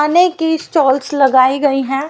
अनेक ही स्टॉल्स लगाई गई हैं।